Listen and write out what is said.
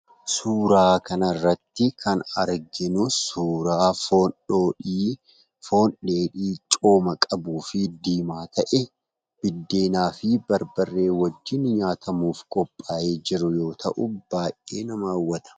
Suuraa kana irratti kan arginu, suuraa foon dheedhii cooma qabuufi diimaa ta'e, biddeenafi barbaree wajiin nyaatamuuf qopha'ee jiruu yoo ta'u, baay'ee nama hawwata.